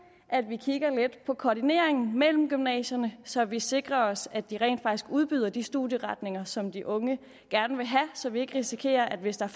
at vi kigger lidt på koordineringen mellem gymnasierne så vi sikrer os at de rent faktisk udbyder de studieretninger som de unge gerne vil have så vi ikke risikerer at hvis der